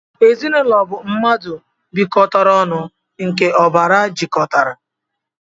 Ezinaūlo bu mmadu bikotara onu nke obara jikotara.